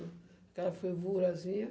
Aquela fervurazinha.